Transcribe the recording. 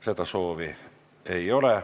Kõnesoove ei ole.